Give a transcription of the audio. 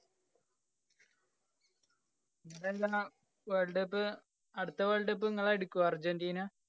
അതല്ലാ world cup. അടുത്ത world cup ങ്ങളെടുക്കോ അര്‍ജന്‍റീന.